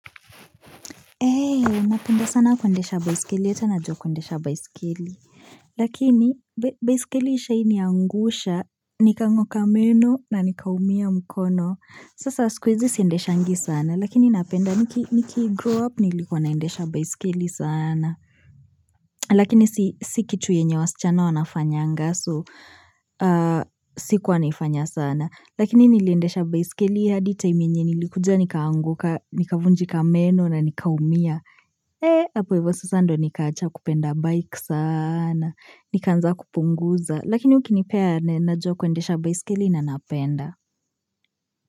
Eee, napenda sana kuendesha baiskeli, hata najua kuendesha baiskeli. Lakini, baiskeli ishawahi niangusha, nikang'oka meno na nikaumia mkono. Sasa siku hizi siendeshangi sana, lakini napenda, niki grow up, nilikuwa naendesha baiskeli sana. Lakini, si kitu yenye wasichana wanafanyanga, so sikuwa naifanya sana. Lakini, niliendesha baiskeli, hadi time yenye nilikuja, nikaanguka, nikavunjika meno na nikaumia. Ee, hapo hivo sasa ndo nikaacha kupenda bike sana, nikaanza kupunguza, lakini ukinipea najua kuendesha baiskeli na napenda.